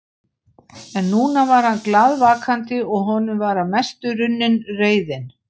En núna var hann glaðvakandi og honum var að mestu runnin reiðin.